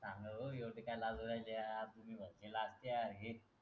होगी होगी काय लागू रायले आपुनही लाजते आरघे.